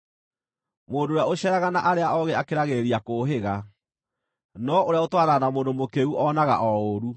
Mũndũ ũrĩa ũceeraga na arĩa oogĩ akĩragĩrĩria kũũhĩga, no ũrĩa ũtwaranaga na mũndũ mũkĩĩgu onaga o ũũru.